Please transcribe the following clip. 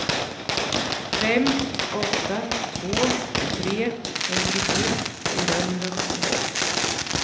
fem åtta två tre femtiosju fyrahundrasjuttiosex